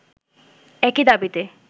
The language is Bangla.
একই দাবিতে